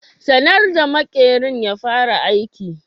Sanar da makerin ya fara aiki.